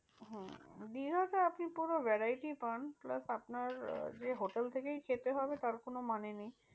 হম দীঘাতে আপনি পুরো variety পান plus আপনার যে hotel থেকেই খেতে হবে তার কোনো মানে নেই।